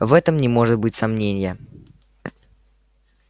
в этом не может быть сомнения